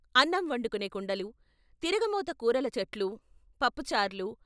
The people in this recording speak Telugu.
అన్నం వండుకునే కుండలు, తిరగ మోత కూరల చట్లు, పప్పుచార్లు...